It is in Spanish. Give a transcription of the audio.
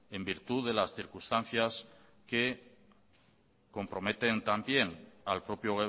en virtud de las circunstancias que comprometen también al propio